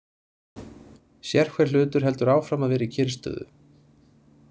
Sérhver hlutur heldur áfram að vera í kyrrstöðu.